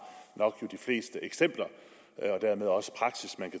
de fleste eksempler og dermed også praksis man